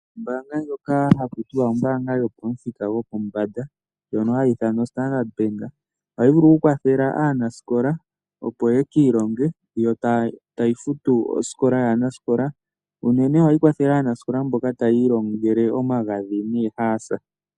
Ombaanga ndjono hayi ithanwa Ombaanga yopamuthika gwopombanda, ndjono yedhina Standard Bank, ohayi vulu okukwathela aanasikola opo yo tayi futu osikola yaanaskola. Unene ohayi kwathele aanasikola mbono tayiilongele omagadhi noohaasa.